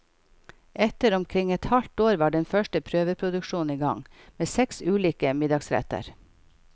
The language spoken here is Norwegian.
Etter omkring et halvt år var den første prøveproduksjonen i gang, med seks ulike middagsretter.